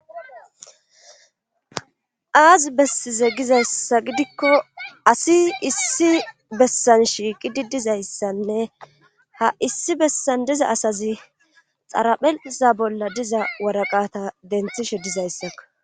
aazi bessize gizayssa gidikko asi issi bessan shiiqi didizayssanne ha issi bessan diza asazi xarapheza bolla diza waraqata denthishe dizayssa